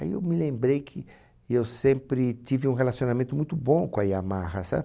Aí eu me lembrei que eu sempre tive um relacionamento muito bom com a Yamaha,